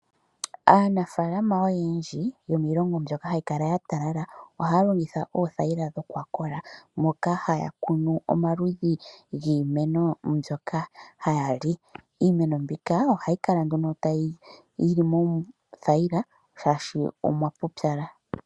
Aanafalama oyendji yomiilongo mbyoka hayi kala ya talala ohaya longitha oothayila dhokwakola, moka haya kunu omaludhi giimeno mbyoka haya li. Iimeno mbika ohayi kala nduno yili mothayila shaashi omwa pupyala.